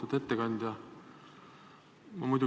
Lugupeetud ettekandja!